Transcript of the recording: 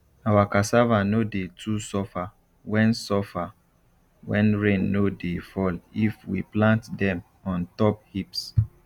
our cassave no dey too suffer when suffer when rain no dey fall if we plant dem on top heaps